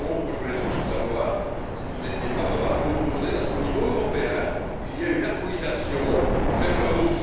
Je voulais juste savoir si vous étiez favorable ou opposée à ce qu'au niveau européen, il y ait une harmonisation vers le haut.